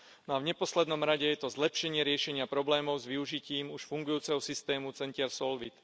A v neposlednom rade je to zlepšenie riešenia problémov s využitím už fungujúceho systému centier SOLVIT.